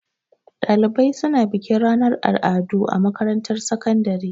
Ɗalibai suna bikin ranar al'adu a makarantar sakandare.